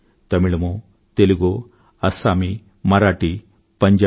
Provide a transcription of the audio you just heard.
తమిళమో తెలుగో అస్సామీ మరాఠీ పంజాబీ